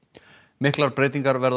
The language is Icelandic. miklar breytingar verða